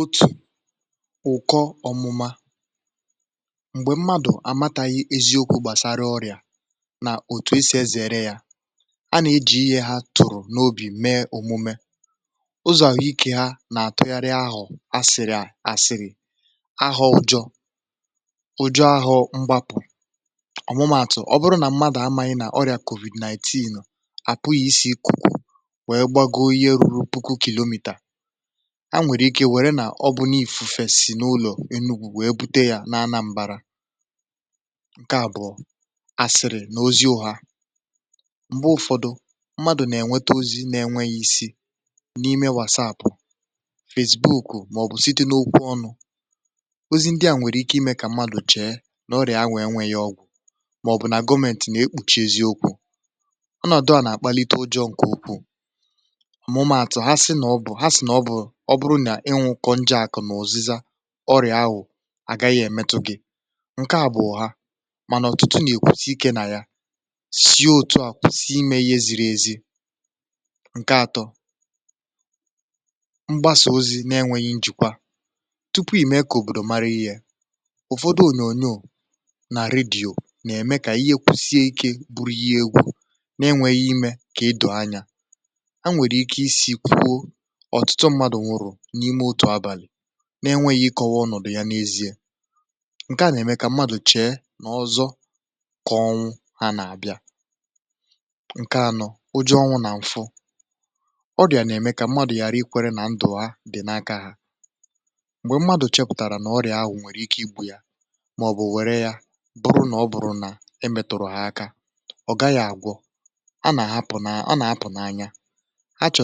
Otù ụ̀kọ ọmụma um na-eme mgbe mmadụ amaghị eziokwu gbasara ọrịa um na otu esi ezìre ya. Mgbe mmadụ ejiri ihe ọ tụụrụ n’obi mee omume ahụike ya.. ọ na-eme ka ahụ̀ tụgharịa n’asịrị, asịrị ọjọọ, mgbapụ̀ ọmụma. Ọ bụrụ na mmadụ amaghị na ọrịa COVID-19 apụghị isi ikuku, um ọ nwere ike ịwere na ọbụna ifufe si n’ụlọ enu gbù were bute ya n’ahụ mmadụ nke ahụ bụ asịrị, ee, ozi ọha n’enweghị isi. Mgbe ụfọdụ mmadụ na-enweta ozi site na WhatsApp, Facebook(, ma ọ bụ ọbụna site n’okwu ọnụ, ozi ndị ahụ nwere ike ime ka mmadụ chee na ọrịa ahụ enweghị ọgwụ ma ọ bụ na gọmentị na-ekpuchi eziokwu. Ọnọdụ a, um na-akpalite ụjọ. Nke a na-eme ka mmadụ kwuo, “ọ bụrụ na m nwụkọ njek na uzịza ọrịa ahụ, ọ gaghị emetụ m.” um Nke a bụ echiche ha, ma ọtụtụ na-ekwusi ike na ihe ndị a, wee kwụsị ime ihe ziri ezi. Nke atọ, mgbasa ozi n’enweghị njikwa tupu ime ka obodo mara ihe, na-ewetara nsogbu. Ụfọdụ onyonyo na redio na-eme ka ihe kwụsịrị ike bụrụ ihe egwu, um n’enweghị ikekwe ime ka mmadụ ghọta eziokwu. um, mgbe mmadụ na-anọ n’abalị n’enweghị ọwa ozi doro anya, ihe a na-eme ka mmadụ chee n’echiche ọzọ dịka, ọnwụ na-abịa, ma ọ bụ ụjọ ọnwụ na-amụba n’ime obi ha. Nke a, um na-eme ka mmadụ kwenye na ndụ ha dị n’aka ha naanị. Mgbe mmadụ chepụtara na ọrịa ahụ nwere ike igbu ya, ma ọ bụ na ọ bụrụ na emetụrụ ya aka, ọ gaghị agwọ.. ọ na-apụ n’anya, na-apụ n’obodo, na-achọ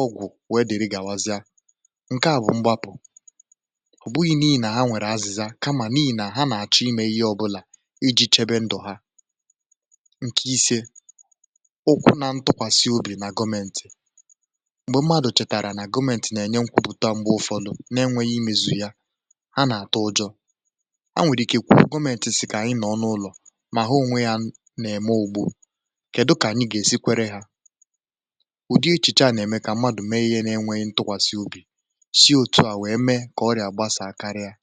ọgwụ n’ebe niile. Nke a bụ mgbapụ um ọ bụghị n’ihi na ha nwere azịza, kama n’ihi na ha chọrọ ime ihe ọbụla iji chebe ndụ ha. Nke ise, ụkwụ na ntụkwasị obi n’aka gọmentị. um Mgbe mmadụ chetara na gọmentị na-enye nkwupụta, ma ọtụtụ n’ime ha enweghị mmezu, um ha na-atụ ụjọ, nwee ike ikwu, “ọ dị ka gọmentị si kwuo, ma anyị nọ n’ụlọ, ha onwe ha na-eme ugbo.”Ụdị echiche a, um na-eme ka mmadụ mee ihe n’enweghị ntụkwasị obi, wee mee ka ọrịa gbasaa karịa ka ọ ga